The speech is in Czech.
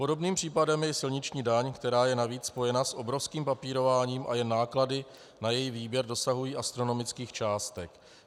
Podobným případem je silniční daň, která je navíc spojena s obrovským papírováním, a jen náklady na její výběr dosahují astronomických částek.